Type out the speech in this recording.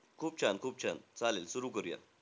खूप छान-खूप छान. चालेलं सुरु करूयात.